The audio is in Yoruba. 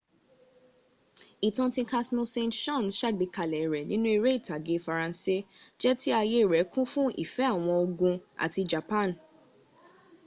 ìtàn tí casmille saint--saens ṣàgbékalè rẹ nínú eré ìtàgé faransé jẹ tí ayé rè kún fún ìfẹ́ àwọn ògùn àti japan